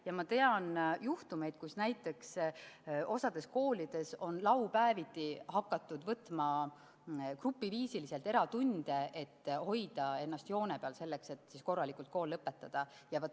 Ja ma tean juhtumeid, kus näiteks osas koolides on laupäeviti hakatud võtma grupiviisiliselt eratunde, et hoida ennast joone peal selleks, et korralikult kool lõpetada.